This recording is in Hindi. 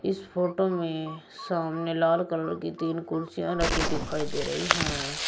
इस फोटो में सामने लाल कलर की तीन कुर्सियां रखी दिखाई दे रही हैं।